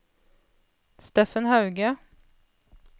Steffen Hauge